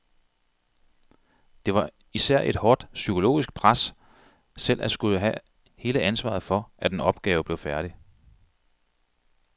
Det var især et hårdt psykologisk pres selv at skulle have hele ansvaret for, at en opgave blev færdig.